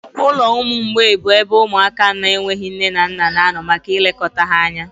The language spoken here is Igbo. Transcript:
Ụlọ ụmụ mgbei bụ ebe ụmụaka na-enweghị nne na nna na-anọ maka ilekọta ha anya.